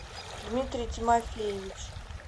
дмитрий тимофеевич